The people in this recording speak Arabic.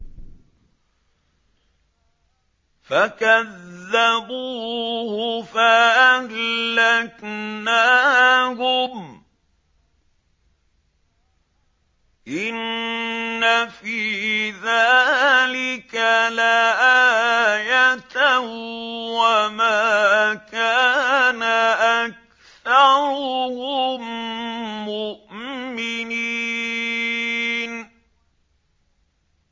فَكَذَّبُوهُ فَأَهْلَكْنَاهُمْ ۗ إِنَّ فِي ذَٰلِكَ لَآيَةً ۖ وَمَا كَانَ أَكْثَرُهُم مُّؤْمِنِينَ